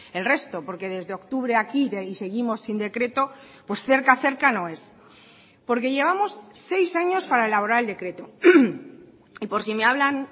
el resto porque desde octubre aquí y seguimos sin decreto pues cerca cerca no es porque llevamos seis años para elaborar el decreto y por si me hablan